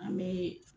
An bɛ